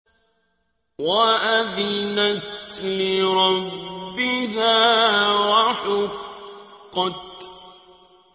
وَأَذِنَتْ لِرَبِّهَا وَحُقَّتْ